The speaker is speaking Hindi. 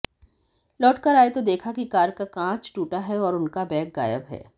लौटकर आए तो देखा कि कार का कांच टूटा है और उनका बैग गायब है